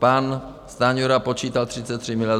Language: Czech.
Pan Stanjura počítal 33 miliard.